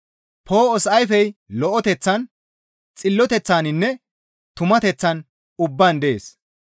Poo7os ayfey lo7eteththan, xilloteththaninne tumateththan ubbaan dees.